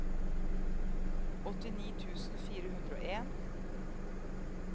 åttini tusen fire hundre og en